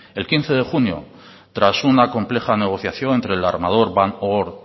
el quince de junio tras una compleja negociación entre el armador van oord